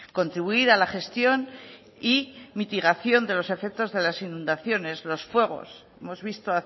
contribuir a la gestión y mitigación de los efectos de las inundaciones los fuegos hemos visto